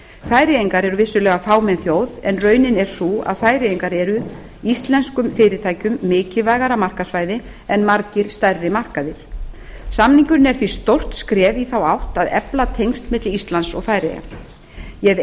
færeyingar eru vissulega fámenn þjóð en raunin er sú að færeyjar eru íslenskum fyrirtækjum mikilvægara markaðssvæði en margir stærri markaðir samningurinn er því stórt skref í þá átt að efla tengsl milli íslands og færeyja ég hef